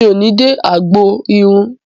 Mi ò ní dé agbọn irun.